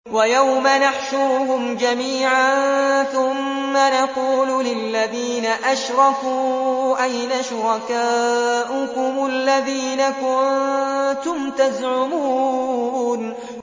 وَيَوْمَ نَحْشُرُهُمْ جَمِيعًا ثُمَّ نَقُولُ لِلَّذِينَ أَشْرَكُوا أَيْنَ شُرَكَاؤُكُمُ الَّذِينَ كُنتُمْ تَزْعُمُونَ